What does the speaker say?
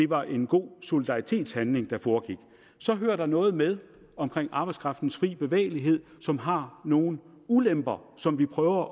var en god solidaritetshandling der foregik så hører der noget med i omkring arbejdskraftens fri bevægelighed som har nogle ulemper som vi prøver